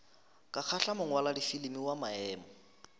ka kgahla mongwaladifilimi wa maemo